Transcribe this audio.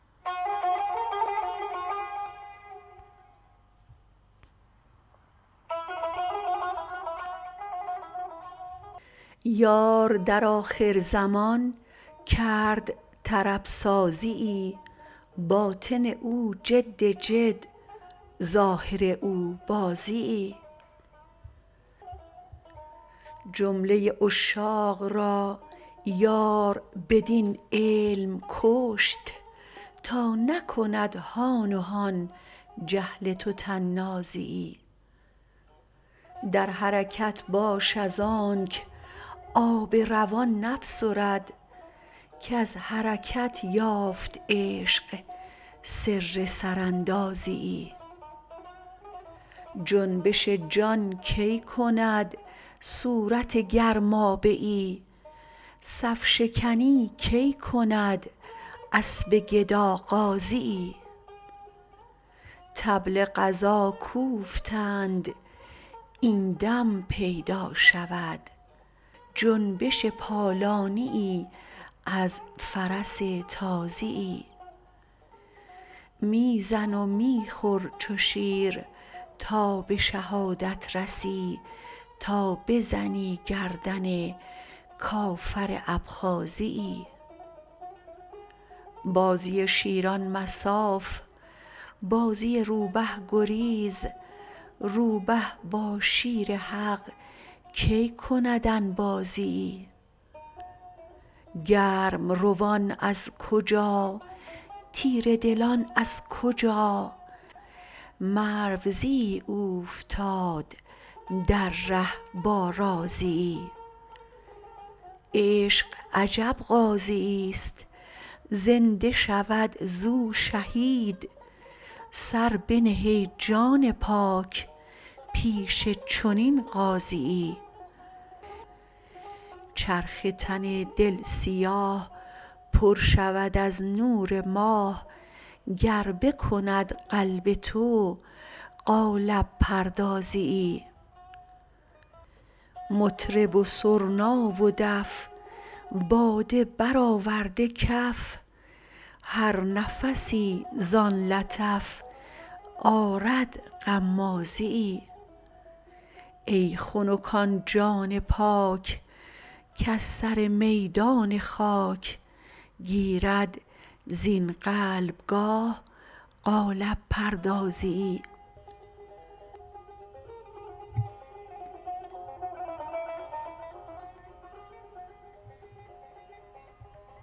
یار در آخرزمان کرد طرب سازیی باطن او جد جد ظاهر او بازیی جمله عشاق را یار بدین علم کشت تا نکند هان و هان جهل تو طنازیی در حرکت باش ازانک آب روان نفسرد کز حرکت یافت عشق سر سراندازیی جنبش جان کی کند صورت گرمابه ای صف شکنی کی کند اسب گدا غازیی طبل غزا کوفتند این دم پیدا شود جنبش پالانیی از فرس تازیی می زن و می خور چو شیر تا به شهادت رسی تا بزنی گردن کافر ابخازیی بازی شیران مصاف بازی روبه گریز روبه با شیر حق کی کند انبازیی گرم روان از کجا تیره دلان از کجا مروزیی اوفتاد در ره با رازیی عشق عجب غازییست زنده شود زو شهید سر بنه ای جان پاک پیش چنین غازیی چرخ تن دل سیاه پر شود از نور ماه گر بکند قلب تو قالب پردازیی مطرب و سرنا و دف باده برآورده کف هر نفسی زان لطف آرد غمازیی ای خنک آن جان پاک کز سر میدان خاک گیرد زین قلبگاه قالب پردازیی